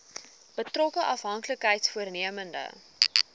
betrokke afhanklikheids vormende